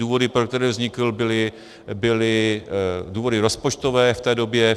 Důvody, pro které vznikl, byly důvody rozpočtové v té době.